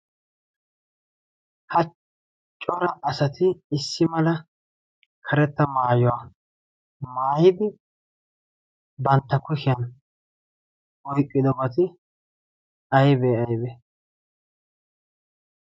ha cora asati issi mala karetta maayuwaa maayidi bantta kuhiyan oyqqido bati aybee aybe?